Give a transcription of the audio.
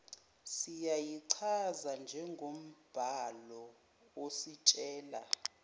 singayichaza njengombhalo ositshela